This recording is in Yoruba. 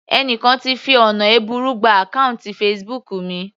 Ẹni kan ti fi ọ̀nà ẹ̀bùrú gba àkọ́ùntì Facebook mi.